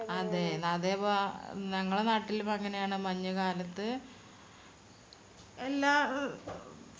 അതേപോ ഞങ്ങളെ നാട്ടിലു ഇപ്പോ അങ്ങനെയാണ് മഞ്ഞുകാലത്തു എല്ലാ അഹ് ഫല വൃക്ഷങ്ങളും ഉണ്ടാകുന്ന സമയം സന്ത ആഹ് സന്ദർഭോക്കെ ആയതോണ്ട് ചക്ക, മാങ്ങ പുളി